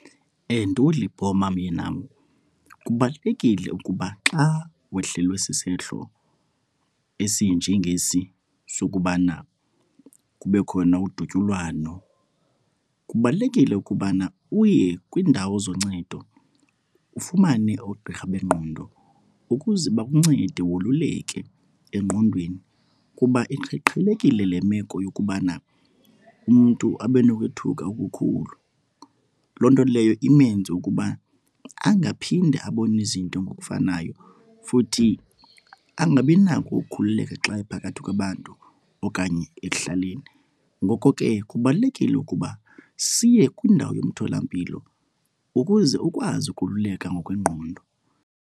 Myenam, kubalulekile ukuba xa wehlelwe sisehlo esinjengesi sokubana kube khona udutyulwano, kubalulekile ukubana uye kwiindawo zoncedo ufumane oogqirha bengqondo ukuze bakuncede woluleke engqondweni. Kuba iqhelekile le meko yokubana umntu abe nokwethuka okukhulu, loo nto leyo imenze ukuba angaphinde abone izinto ngokufanayo futhi angabinako ukukhululeka xa ephakathi kwabantu okanye ekuhlaleni. Ngoko ke kubalulekile ukuba siye kwindawo yomtholampilo ukuze ukwazi ukululeka ngokwengqondo.